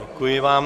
Děkuji vám.